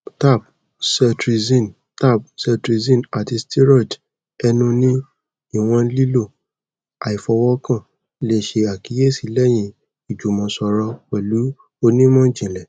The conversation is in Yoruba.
tab cetirizine tab cetirizine ati steroid enu ni iwọn lilo aifiowokan le ṣe akiyesi lẹhin ijumọsọrọ pẹlu onimọjinlẹ